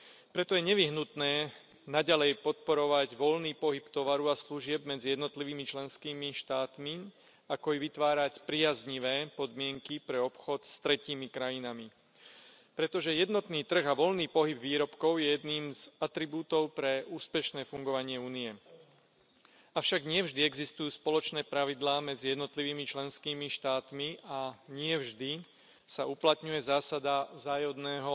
Preto je nevyhnutné naďalej podporovať voľný pohyb tovaru a služieb medzi jednotlivými členskými štátmi, ako i vytvárať priaznivé podmienky pre obchod s tretími krajinami, pretože jednotný trh a voľný pohyb výrobkov je jedným z atribútov pre úspešné fungovanie Únie. Avšak nie vždy existujú spoločné pravidlá medzi jednotlivými členskými štátmi a nie vždy sa uplatňuje zásada vzájomného